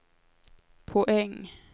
poäng